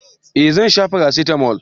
eh Zan sha parasitamo